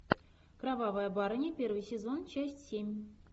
кровавая барыня первый сезон часть семь